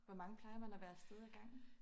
Hvor mange plejer man at være afsted af gangen?